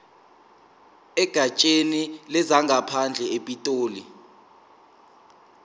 egatsheni lezangaphandle epitoli